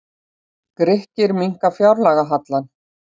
Grikkir minnka fjárlagahallann